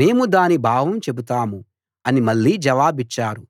మేము దాని భావం చెబుతాము అని మళ్ళీ జవాబిచ్చారు